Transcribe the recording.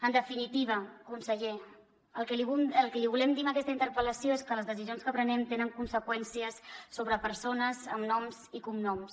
en definitiva conseller el que li volem dir amb aquesta interpel·lació és que les decisions que prenem tenen conseqüències sobre persones amb noms i cognoms